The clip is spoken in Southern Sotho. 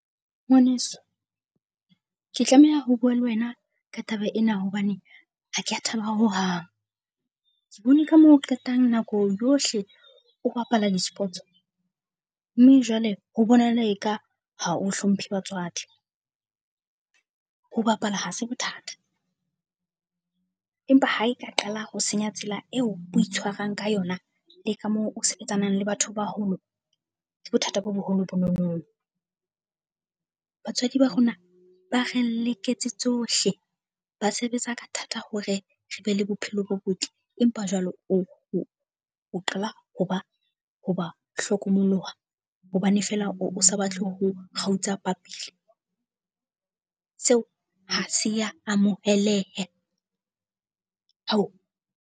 Ngwaneso, ke tlameha ho bua le wena ka taba ena hobane ha ke a thaba hohang. Ke bone ka moo o qetang nako yohle o bapala di-sports. Mme jwale ho bonahala eka ha o hlomphe batswadi. Ho bapala ha se bothata, empa ha eka qala ho senya tsela eo o itshwarang ka yona le ka moo o sebetsanang le batho baholo, ke bothata bo boholo bonono. Batswadi ba rona ba re leketse tsohle, ba sebetsa ka thata hore re be le bophelo bo botle. Empa jwale o o qala ho ba ho ba hlokomoloha hobane feela o o sa batle ho kgutla phapile, seo ha se ya moheleha .